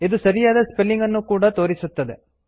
ಇದು ಸರಿಯಾದ ಸ್ಪೆಲ್ಲಿಂಗ್ ಅನ್ನು ಕೂಡ ತೋರಿಸುತ್ತದೆ